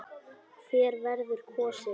Hver verður kosinn?